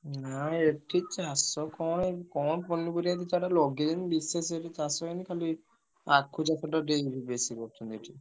ନା ଏ ଠି ଚାଷ କଣ ଏଇ କଣ ପନିପରିବା ଦି ଚାରିଟା ଲଗେଇଛି ବିଶେଷ କିଛି ଚାଷ ହେଇନି ଖାଲି ଆଖୁ ଚାଷଟା ଟିକେ ଏଇଠି ବେଶୀ କରୁ ଛନ୍ତି ଏଠି।